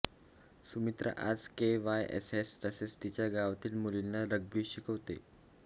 सुमित्रा आज केआयएसएस तसेच तिच्या गावातील मुलींना रग्बी शिकवते